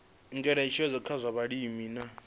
ngeletshedzo kha zwa vhulimi na